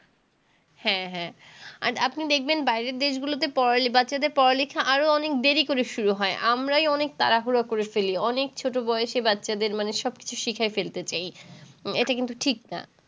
হ্যাঁ হ্যাঁ। আর আপনি দেখবেন বাইরের দেশগুলোতে পড়া বাচ্চাদের পড়া লিখা আরও অনেক দেরী করে শুরু হয়। আমরাই অনেক তাড়াহুড়ো করে ফেলি। অনেক ছোট বয়সে বাচ্চাদের মানে সবকিছু শিখায় ফেলতে চাই। এটা কিন্তু ঠিক না।